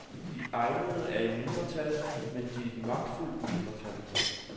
De egnede er i mindretal, men de er et magtfuldt mindretal.